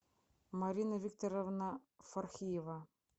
марина викторовна фархиева